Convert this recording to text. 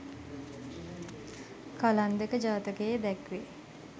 කලන්දක ජාතකයේ දැක්වේ.